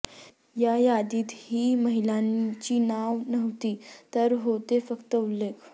या यादीतही महिलांची नावं नव्हती तर होते फक्त उल्लेख